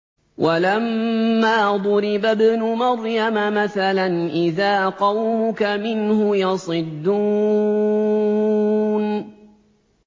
۞ وَلَمَّا ضُرِبَ ابْنُ مَرْيَمَ مَثَلًا إِذَا قَوْمُكَ مِنْهُ يَصِدُّونَ